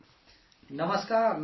نمسکار، نمسکار صاحب